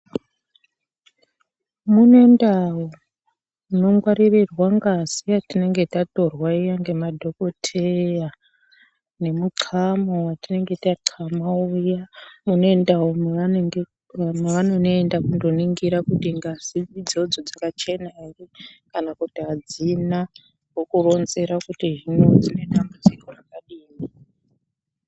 Mune ndau dzinongwarirwa ngazi yatinenge yatorwa iya nemadhokhodheya nemuqama watinenge taqama uya mune ndau mavaoenda kunoningira kuti kuti ngazi idzodzo dzakachena ere kana kuti adzina hino vokuronzera kuti dzine dambudziko rakadini.